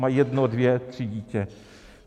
Mají jedno, dvě, tři děti.